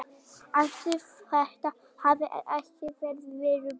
Ætli þetta hafi ekki verið viðbúið.